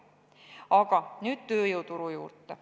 Aga nüüd tööjõuturu juurde.